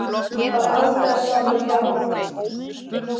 Færð aldrei að sjá það hjala.